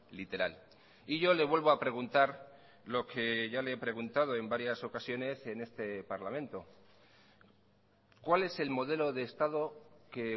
literal y yo le vuelvo a preguntar lo que ya le he preguntado en varias ocasiones en este parlamento cuál es el modelo de estado que